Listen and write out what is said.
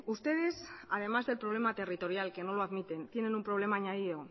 ustedes además del problema territorial que no lo admiten tienen un problema añadido